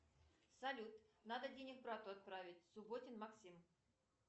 салют надо денег брату отправить субботин максим